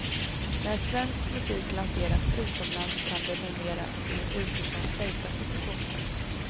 När svensk musik lanseras utomlands kan det numera ske utifrån stärkta positioner.